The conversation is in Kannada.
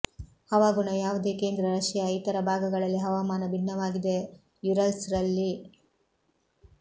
ಹವಾಗುಣ ಯಾವುದೇ ಕೇಂದ್ರ ರಶಿಯಾ ಇತರ ಭಾಗಗಳಲ್ಲಿ ಹವಾಮಾನ ಭಿನ್ನವಾಗಿದೆ ಯುರಲ್ಸ್ ರಲ್ಲಿ